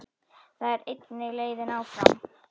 Það er einnig leiðin áfram.